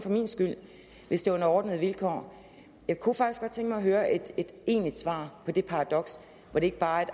hvis det er under ordnede vilkår jeg kunne faktisk mig at høre et egentligt svar på det paradoks og ikke bare